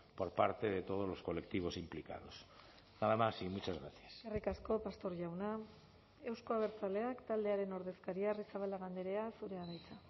por parte de todos los colectivos implicados nada más y muchas gracias eskerrik asko pastor jauna euzko abertzaleak taldearen ordezkaria arrizabalaga andrea zurea da hitza